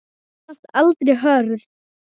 Samt aldrei hörð.